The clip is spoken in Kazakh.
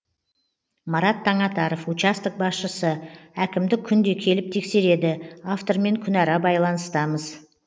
марат таңатаров участок басшысы әкімдік күнде келіп тексереді автормен күнара байланыстамыз